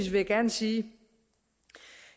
jeg gerne sige at